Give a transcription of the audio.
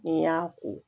N'i y'a ko